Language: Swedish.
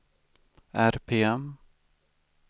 RPM